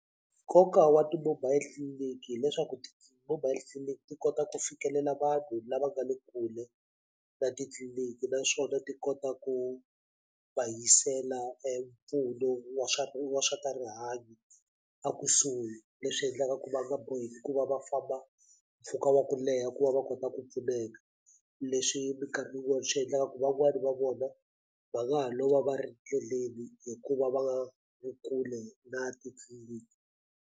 Nkoka wa ti-mobile tliliniki hileswaku ti-mobile tliliniki ti kota ku fikelela vanhu lava nga le kule na titliliniki naswona ti kota ku va yisela empfuno wa swa wa swa rihanyo a kusuhi leswi endlaka ku va nga boheki ku va va famba mpfhuka wa ku leha ku va va kota ku pfuneka leswi mikarhi yin'wani swi endlaka ku van'wani va vona va nga ha lova va ri ndleleni hikuva va nga vi kule na titliliniki.